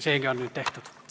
Seegi on nüüd tehtud.